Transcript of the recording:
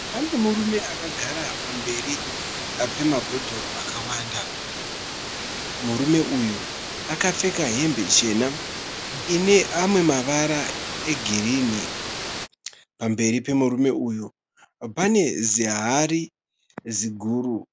Pane murume akagara pamberi pemabodhoro akawanda. Murume uyu akapfeka hembe chena ine amwe mavara egirinhi pamberi pemurume uyu pane zihari ziguru.